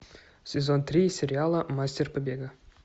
сезон три сериала мастер побега